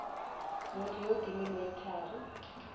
motho yo o timilweng thari